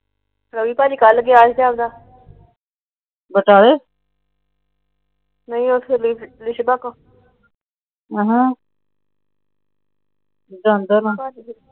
ਰਵੀ ਤਾਂ ਹਜੇ ਕੱਲ ਗਿਆ ਸੀ ਗਾ।